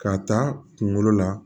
K'a ta kunkolo la